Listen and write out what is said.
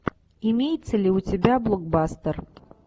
имеется ли у тебя блокбастер